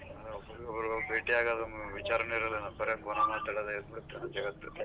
ಭೇಟಿ ಆಗೋದು ವಿಚಾರನೆ ಇರಲ್ಲೇನೋ ಬರಿ phone ಮಾತಾಡೋದೇ ಆಗ್ಬಿಡತ್ತೆ ಜಗತ್ತು.